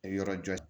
Yɔrɔ jɔ